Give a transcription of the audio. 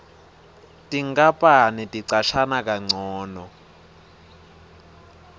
tinkapani ticashana kancono